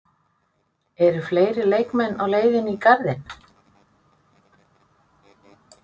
Eru fleiri leikmenn á leiðinni í Garðinn?